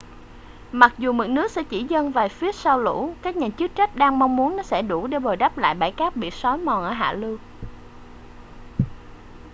mặc dù mực nước sẽ chỉ dâng vài feet sau lũ các nhà chức trách đang mong muốn nó sẽ đủ để bồi đắp lại bãi cát bị sói mòn ở hạ lưu